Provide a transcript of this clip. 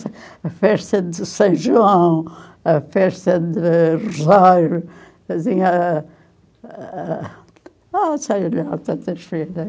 Tem a festa de São João, a festa de Rosário, assim, a a... Ah, sei lá, tantas festas.